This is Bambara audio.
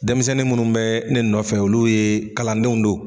Denmisɛnnin munnu bɛ ne nɔfɛ olu ye kalandenw don.